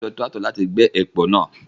Wọ́n lo Tírákítọ̀ náà láti gbẹ́ èpò náà.